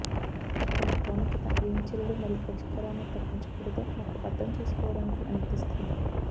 దాని ప్రాముఖ్యత ఏమి చర్యలు మరియు పరిష్కారాలను తప్పించకూడదో మాకు అర్థం చేసుకోవడానికి అనుమతిస్తుంది